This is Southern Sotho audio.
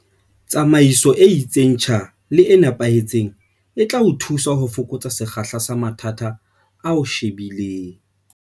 Tsamaiso e itseng tjha le e nepahetseng e tla thusa ho fokotsa sekgahla sa mathata a o shebileng.